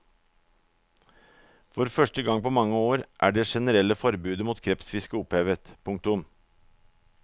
For første gang på mange år er det generelle forbudet mot krepsefiske opphevet. punktum